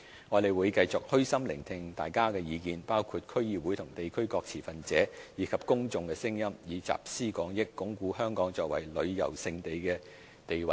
我們會繼續虛心聆聽大家的意見，包括區議會和地區各持份者，以及公眾的聲音，以集思廣益，鞏固香港作為旅遊勝地的地位。